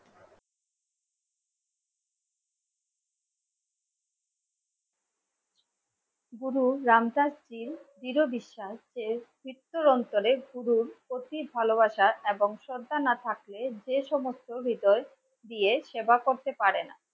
গুরু রাম দাস জীর দৃঢ় বিশ্বাস যে উত্তর অঞ্চলের গুরুর প্রতি ভালোবাসা এবং শ্রদ্ধা না থাকলে যে সমস্ত হৃদয় দিয়ে সেবা করতে পারে না.